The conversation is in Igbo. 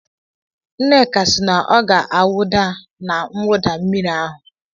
Nneka si na ọ ga-awụda na mwụda mmiri ahụ.